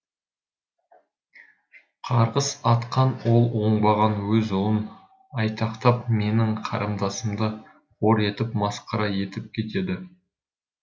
қарғыс атқан ол оңбаған өз ұлын айтақтап менің қарындасымды қор етіп масқара етіп кетеді